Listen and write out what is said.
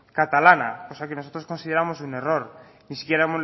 catalana cosa que nosotros consideramos un error ni si quiera